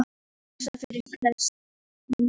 Að hugur hans fylltist myndum af henni.